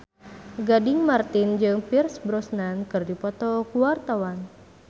Gading Marten jeung Pierce Brosnan keur dipoto ku wartawan